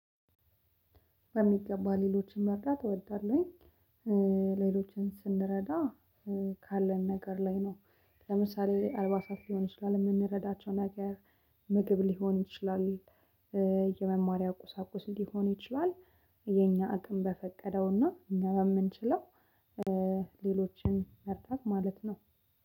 በሚገባ ሌሎችን መርዳት እወዳለሁኝ። ሌሎችን ስንረዳ ካለን ነገር ላይ ነው። ለምሳሌ አልባሳት ሊሆን ይችላል የምንረዳቸው ነገር። ምግብ ሊሆን ይችላል። የመማሪያ ቁሳቁስ ሊሆን ይችላል። የኛ አቅም በፈቀደው እና እኛ በምንችለው ሌሎችን መርዳት ማለት ነው።